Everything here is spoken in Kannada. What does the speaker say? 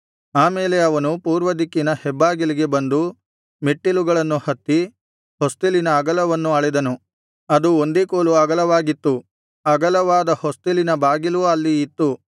ಆಮೇಲೆ ಅವನು ಪೂರ್ವದಿಕ್ಕಿನ ಹೆಬ್ಬಾಗಿಲಿಗೆ ಬಂದು ಮೆಟ್ಟಿಲುಗಳನ್ನು ಹತ್ತಿ ಹೊಸ್ತಿಲಿನ ಅಗಲವನ್ನು ಅಳೆದನು ಅದು ಒಂದೇ ಕೋಲು ಅಗಲವಾಗಿತ್ತು ಅಗಲವಾದ ಹೊಸ್ತಿಲಿನ ಬಾಗಿಲೂ ಅಲ್ಲಿ ಇತ್ತು